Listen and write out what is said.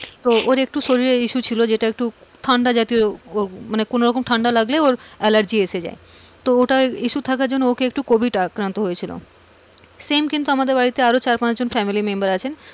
তোর একটু শরীরে issue ছিল যেটা একটু ঠান্ডা জাতীয় উম মানে কোনো রকম ঠান্ডা লাগলে ওর allergy এসে যাই, তো ওটা issue থাকার জন্য ওকে একটু covid আক্রান্ত হয়েছিল, same কিন্তু আমাদের বাড়িতে চার পাঁচজন family member আছেন,